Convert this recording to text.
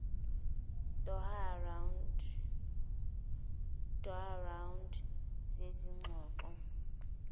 doha round zezingxoxo